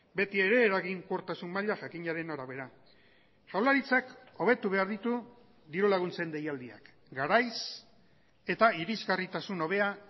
beti ere eraginkortasun maila jakinaren arabera jaurlaritzak hobetu behar ditu diru laguntzen deialdiak garaiz eta irizgarritasun hobea